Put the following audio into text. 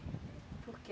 Por quê?